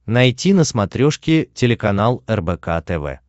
найти на смотрешке телеканал рбк тв